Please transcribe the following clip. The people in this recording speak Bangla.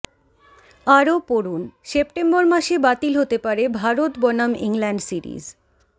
আরও পড়ুনঃসেপ্টেম্বর মাসে বাতিল হতে পারে ভারত বনাম ইংল্যান্ড সিরিজ